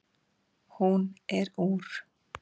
Hún er úr